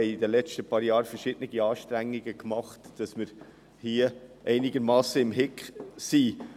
Wir haben in den letzten Jahren verschiedene Anstrengungen unternommen, um hier einigermassen im Lot zu sein.